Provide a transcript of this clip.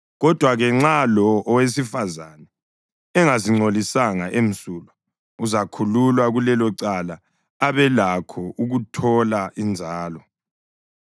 Kodwa-ke nxa lo owesifazane engazingcolisanga, emsulwa, uzakhululwa kulelo cala abelakho ukuthola inzalo.